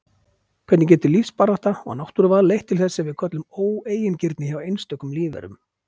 Hvernig getur lífsbarátta og náttúruval leitt til þess sem við köllum óeigingirni hjá einstökum lífverum?